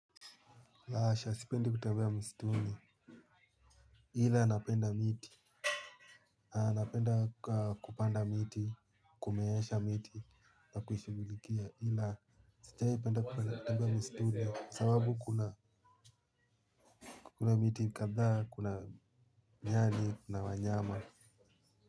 La hasha sipendi kutembea mstuni ila napenda miti. Haa napenda kupanda miti kumeesha miti na kuimmshughulikia ila sajahi penda kupenda kutembea mstuni sababu kuna kuna miti kadhaa kuna nyani na wanyama.